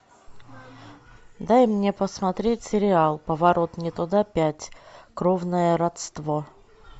дай мне посмотреть сериал поворот не туда пять кровное родство